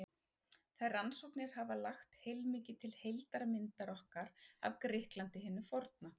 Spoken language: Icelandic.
Þær rannsóknir hafa lagt heilmikið til heildarmyndar okkar af Grikklandi hinu forna.